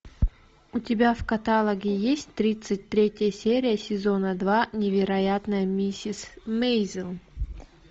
у тебя в каталоге есть тридцать третья серия сезона два невероятная миссис мейзел